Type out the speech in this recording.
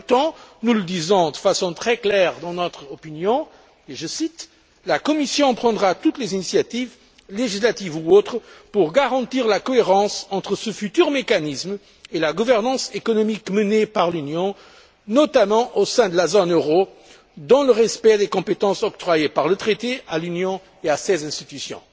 Mais, en même temps, nous le disons de façon très claire dans notre avis, et je cite La Commission prendra toutes les initiatives, législatives ou autres, pour garantir la cohérence entre ce futur mécanisme et la gouvernance économique menée par l'Union, notamment au sein de la zone euro, dans le respect des compétences octroyées par le traité à l'Union et à ses institutions.